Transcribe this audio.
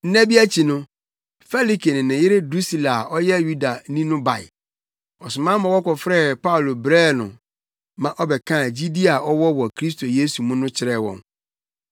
Nna bi akyi no, Felike ne ne yere Drusila a ɔyɛ Yudani no bae. Ɔsoma ma wɔkɔfrɛɛ Paulo brɛɛ no ma ɔbɛkaa gyidi a ɔwɔ wɔ Kristo Yesu mu no kyerɛɛ wɔn.